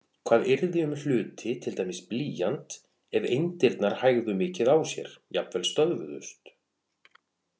Hvað yrði um hluti, til dæmis blýant, ef eindirnar hægðu mikið á sér, jafnvel stöðvuðust?